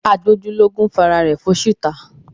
Agbójúlógún fi ara rẹ̀ fóṣì ta